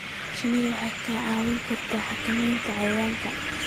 Shinnidu waxay kaa caawin kartaa xakamaynta cayayaanka.